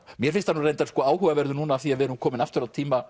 mér finnst hann nú reyndar áhugaverður núna af því við erum komin aftur á tíma